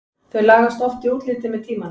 Þau lagast oft í útliti með tímanum.